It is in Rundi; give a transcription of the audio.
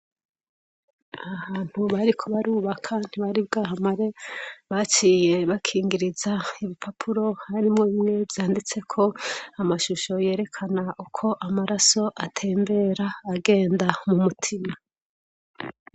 Aha hantu bariko barubaka ntibari bwahamare baciye bakingiriza ibipapuro harimwo bimwe vyanditseko amashusho yerekana uko amaraso atembera agenda mumutima